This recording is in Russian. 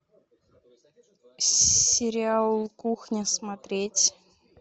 сериал кухня смотреть